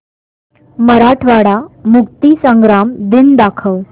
मराठवाडा मुक्तीसंग्राम दिन दाखव